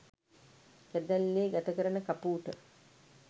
කැදැල්ලේ ගත කරන කපූට